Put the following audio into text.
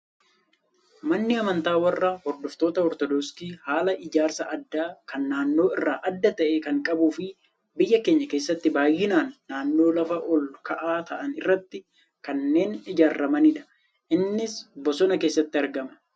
Manni amantaa warra hordoftoota Ortodoksii, haala ijaarsa addaa kan naannoo irraa adda ta'e kan qabuu fi biyya keenya keessatti baayyinaan naannoo lafa ol ka'aa ta'an irratti kanneen ijaaramanidha. Innis bosona keessatti argama.